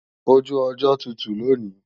Oju ọjọ́ tutù lòní